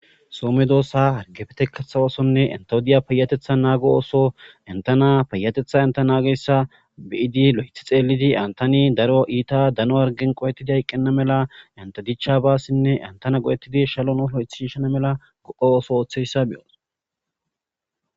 So medosa erikofite kaththa oththonne entawu diya payateththa nago oththo entanna payateththa enta nagiyasa be'iddi loyiththi xeellidi antanni daro etti daro hariggenn qohettid hayiqenna mala entta dichchabasinne entana go'ettid shalonni loyiththi Shishanna mala ubba oththo oththizayiss be'os.